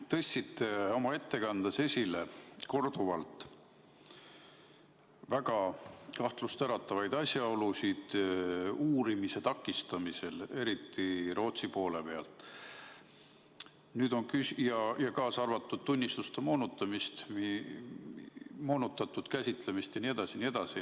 Te tõstsite oma ettekandes korduvalt esile väga kahtlustäratavaid asjaolusid uurimise takistamisel, eriti Rootsi poole pealt, kaasa arvatud tunnistuste moonutamist, moonutatud käsitlemist jne.